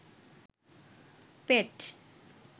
পেট